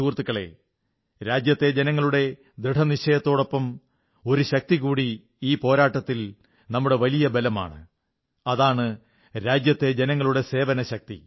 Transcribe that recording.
സുഹൃത്തുക്കളേ രാജ്യത്തെ ജനങ്ങളുടെ ദൃഢനിശ്ചയത്തോടൊപ്പം ഒരു ശക്തികൂടി ഈ പോരാട്ടത്തിൽ നമ്മുടെ വലിയ ബലമാണ് അതാണ് രാജ്യത്തെ ജനങ്ങളുടെ സേവനശക്തി